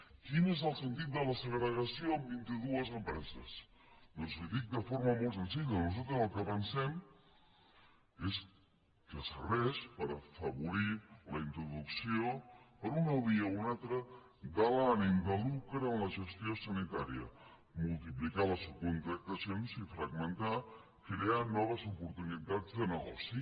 quin és el sentit de la segregació en vint i dues empreses doncs li ho dic de forma molt senzilla nosaltres el que pensem és que serveix per afavorir la introducció per una via o una altra de l’ànim de lucre en la gestió sanitària multiplicar les subcontractacions i fragmentar crear noves oportunitats de negoci